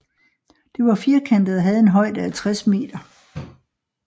Det var firkantet og havde en højde af 60 m